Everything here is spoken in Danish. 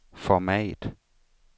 format